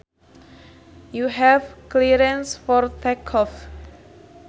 You have clearance for take off